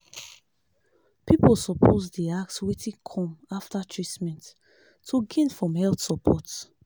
people suppose dey ask wetin come after treatment to gain from health support.